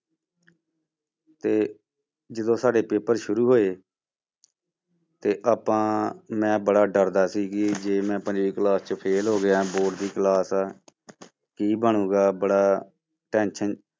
ਤੇ ਜਦੋਂ ਸਾਡੇ ਪੇਪਰ ਸ਼ੁਰੂ ਹੋਏ ਤੇ ਆਪਾਂ ਮੈਂ ਬੜਾ ਡਰਦਾ ਸੀ ਕਿ ਜੇ ਮੈਂ ਪੰਜਵੀਂ class ਚੋਂ fail ਗਿਆ board class ਹੈ ਕੀ ਬਣੇਗਾ ਬੜਾ tension